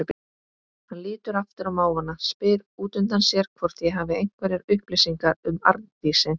Hann lítur aftur á mávana, spyr útundan sér hvort ég hafi einhverjar upplýsingar um Arndísi.